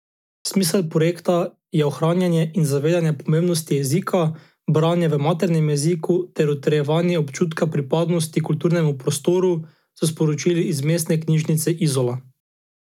Smisel projekta je ohranjanje in zavedanje pomembnosti jezika, branja v maternem jeziku ter utrjevanje občutka pripadnosti kulturnemu prostoru, so sporočili iz Mestne knjižnice Izola.